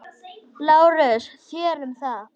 LÁRUS: Þér um það.